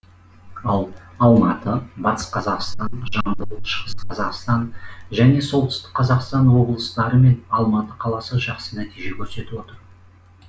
ал алматы батыс қазақстан жамбыл шығыс қазақстан және солтүстік қазақстан облыстары мен алматы қаласы жақсы нәтиже көрсетіп отыр